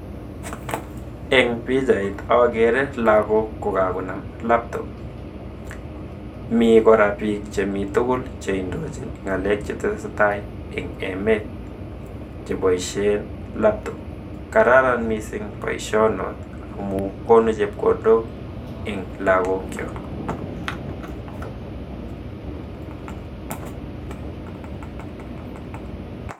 eng pichait agere lagok ko kagonam laptop mi kora bik che mi togol che indochin ngalek che tesetai eng emet che boishen laptop kororon mising boisho not amu gonu chepkondok eng lakok chok.